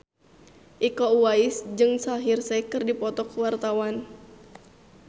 Iko Uwais jeung Shaheer Sheikh keur dipoto ku wartawan